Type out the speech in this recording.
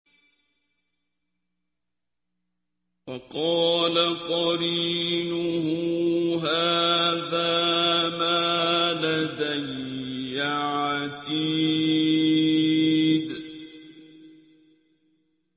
وَقَالَ قَرِينُهُ هَٰذَا مَا لَدَيَّ عَتِيدٌ